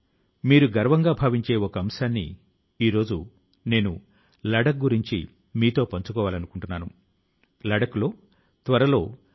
ప్రియమైన నా దేశవాసులారా ఈసారి మన్ కీ బాత్ మనసు లో మాట కార్యక్రమం లో కూడా మనం అనేక అంశాలపై మాట్లాడుకొన్నాం